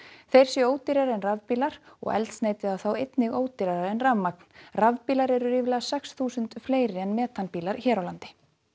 þeir séu ódýrari en rafbílar og eldsneytið á þá einnig ódýrara en rafmagn rafbílar eru ríflega sex þúsund fleiri en metanbílar hér á landi